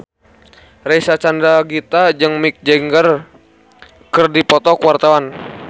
Reysa Chandragitta jeung Mick Jagger keur dipoto ku wartawan